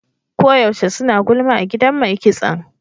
Ko yaushe suna gulma a gidan mai kitson.